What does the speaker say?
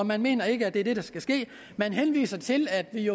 man mener ikke at det er det der skal ske man henviser til at vi